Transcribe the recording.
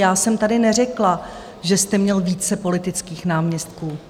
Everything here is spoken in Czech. Já jsem tady neřekla, že jste měl více politických náměstků.